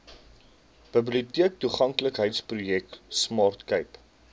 biblioteektoeganklikheidsprojek smart cape